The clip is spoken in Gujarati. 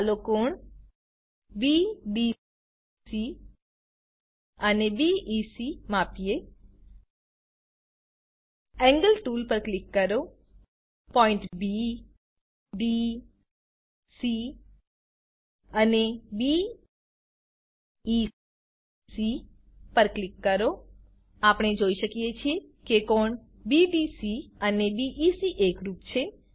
ચાલો કોણ બીડીસી અને બીઇસી માપીએ એન્ગલ ટૂલ પર ક્લિક કરો પોઈન્ટ બી ડી સી અને બી ઇ સી પર ક્લિક કરો આપણે જોઈ શકીએ છીએ કે કોણ બીડીસી અને બીઇસી એકરૂપ છે